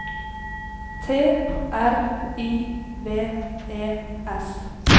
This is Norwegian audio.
T R I V E S